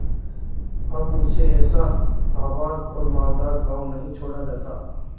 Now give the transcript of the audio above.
अब मुझसे ऐसा आबाद और मालदार गॉँव नहीं छोड़ा जाता